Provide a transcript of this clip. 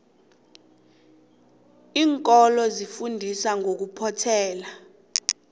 iinkolo zifundisa ngokuphothela